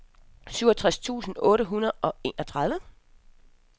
syvogtres tusind otte hundrede og enogtredive